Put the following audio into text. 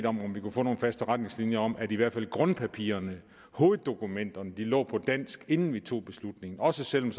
om vi kunne få nogle faste retningslinjer om at i hvert fald grundpapirerne hoveddokumenterne lå på dansk inden vi tog beslutningen også selv om